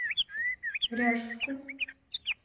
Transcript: ряжску